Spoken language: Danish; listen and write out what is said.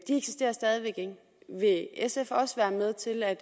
eksisterer stadig væk ikke vil sf også være med til at